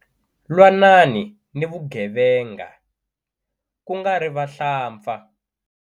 Lwanani ni vugevenga ku nga ri vahlampfa.